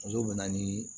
Muso bɛ na ni